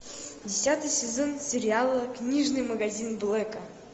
десятый сезон сериала книжный магазин блэка